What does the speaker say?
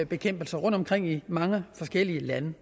bekæmpelse rundt omkring i mange forskellige lande